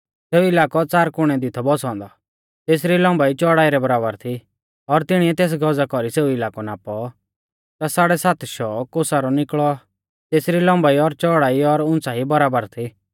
सेऊ इलाकौ च़ार कुणै दी थौ बौसौ औन्दौ और तेसरी लम्बाई च़ौड़ाई रै बराबर थी और तिणिऐ तेस गज़ा कौरी सेऊ इलाकौ नापौ ता साड़ै सात शौ कोसा रौ निकल़ौ तेसरी लम्बाई और च़ौड़ाई और उंच़ाई बराबर थी